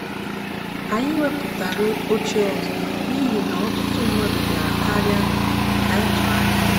anyị wepụtara oche ọzọ n'ihi na ọtụtụ mmadụ bịara karịa ka anyị tụrụ anya ya.